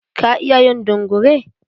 Ka iya yin dungure?